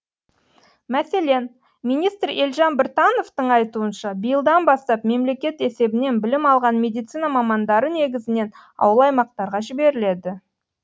мәселен министр елжан біртановтың айтуынша биылдан бастап мемлекет есебінен білім алған медицина мамандары негізінен ауыл аймақтарға жіберіледі